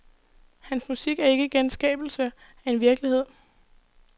Hans musik er ikke genskabelse af en virkelighed.